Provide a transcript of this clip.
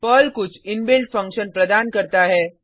Perl कुछ inbuilt function प्रदान करता है